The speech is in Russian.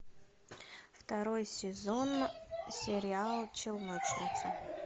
второй сезон сериал челночница